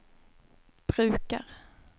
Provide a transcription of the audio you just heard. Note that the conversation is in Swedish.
brukar